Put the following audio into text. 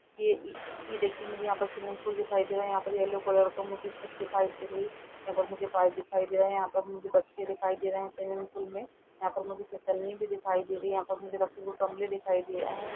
ये इअ ये देखिए मुझे यहाँ पर स्विमिंग पूल दिखाई दे रहा यहाँ पर येलो कलर का मुझे छत दिखाई दे रही यहाँ पर मुझे पाइप दिखाई दे रहा यहाँ पर मुझे बच्चे दिखाई दे रहें स्विमिंग पूल में यहाँ पर मुझे फिसलनी भी दिखाई दे रही है | यहां पर मुझे रखे हुए गमले दिखाई दे रहे हैं |